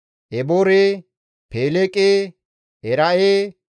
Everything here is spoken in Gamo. Eboore, Peeleege, Era7e,